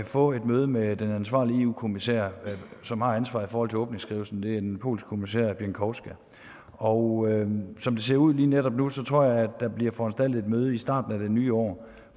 få et møde med den ansvarlige eu kommissær som har ansvaret i forhold til åbningsskrivelsen det er en polsk kommissær pieńkowska og som det ser ud lige netop nu tror jeg at der bliver foranstaltet et møde i starten af det nye år